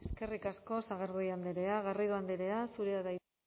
eskarrik asko sagardui andrea garrido andrea zurea da hitza